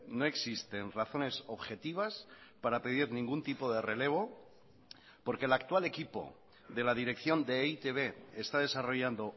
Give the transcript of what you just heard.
no existen razones objetivas para pedir ningún tipo de relevo porque el actual equipo de la dirección de e i te be está desarrollando